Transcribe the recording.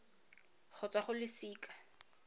go tswa go wa losika